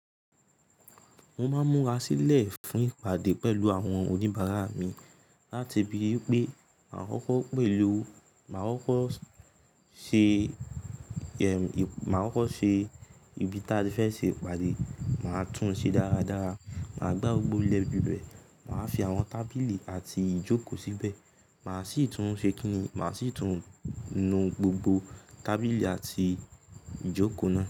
Mo máa múra sílẹ̀ fún ìpàdé pẹ̀lú àwọn oníbàárà mi, láti bí pé màá kọ́kọ́ pèlò, màá kọ́kọ́ ṣe, ìbí tí a fẹ́ ṣe ìpàdé, màá tún un ṣe dáradára, màá gbá gbogbo ilẹ̀ ibì bẹ̀, màá fi àwọn tábìlì àti ìjókòó síbẹ̀, màá sì tún ṣe kí ni, màá sì tún nu gbogbo tábìlì àti ìjókòó náà.